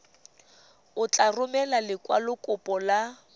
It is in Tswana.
o tla romela lekwalokopo la